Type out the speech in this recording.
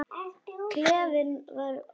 Klefinn var opinn.